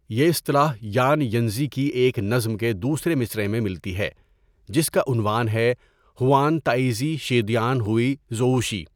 یہ اصطلاح Yan Yanzhi کی ایک نظم کے دوسرے مصرعے میں ملتی ہے جس کا عنوان ہے 'ہوان تائیزی شیدیان ہوئی زوؤشی'.